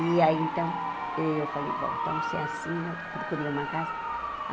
E aí, então, eu falei, bom, então se é assim, eu procurei uma casa.